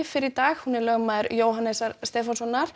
fyrr í dag hún er lögmaður Jóhannesar Stefánssonar